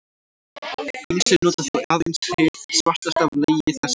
Ýmsir nota þó aðeins hið svartasta af legi þessum.